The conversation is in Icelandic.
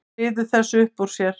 Hann ryður þessu upp úr sér.